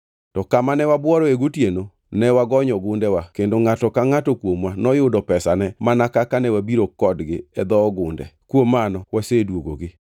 To kamane wabuoroe gotieno ne wagonyo gundewa kendo ngʼato ka ngʼato kuomwa noyudo pesane mana kaka ne wabiro kodgi e dho ogunde. Kuom mano waseduogogi.